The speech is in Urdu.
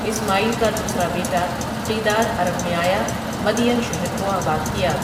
اسماعیل کا دوسرا بیٹا قیدار عرب میں آیا مدین شہر کو آباد کیا ۔